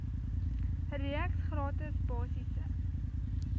reeks gratis basiese